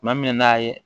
Tuma min n'a ye